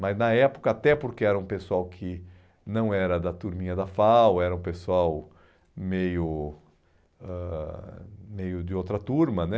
Mas na época, até porque era um pessoal que não era da turminha da FAU, era um pessoal meio ãh meio de outra turma, né?